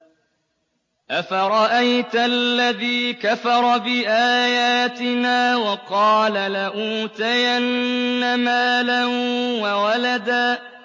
أَفَرَأَيْتَ الَّذِي كَفَرَ بِآيَاتِنَا وَقَالَ لَأُوتَيَنَّ مَالًا وَوَلَدًا